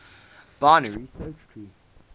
binary search tree